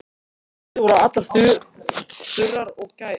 Húðir voru allar þurrar og gærur.